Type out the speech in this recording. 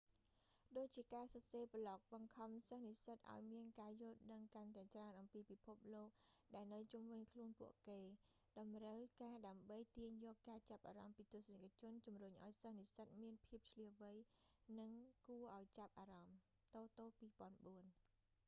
ដូចជាការសរសេរប្លុក បង្ខំសិស្សនិសិ្សតឱ្យមានការយល់ដឹងកាន់តែច្រើនអំពីពិភពលោកដែលនៅជុំវិញខ្លួនពួកគេ តម្រូវការដើម្បីទាញយកការចាប់អារម្មណ៍ពីទស្សនិកជនជំរុញឱ្យសិស្សនិស្សិតមានភាពឈ្លាសវៃ និងគួរឱ្យចាប់អារម្មណ៍ តូតូ 2004